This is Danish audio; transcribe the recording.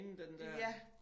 Ja